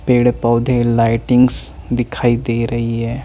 पेड़ पोधे लाइटिंगस दिखाई दे रही है।